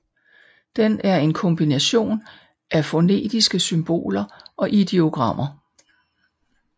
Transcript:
Den er en kombination af fonetiske symboler og ideogrammer